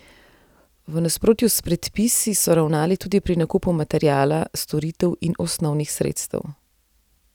V nasprotju s predpisi so ravnali tudi pri nakupu materiala, storitev in osnovnih sredstev.